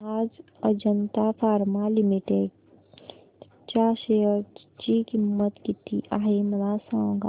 आज Ajanta pharma limited च्या share ची किंमत किती आहे मला सांगा